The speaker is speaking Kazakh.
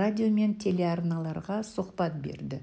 радио мен телеарналарға сұхбат берді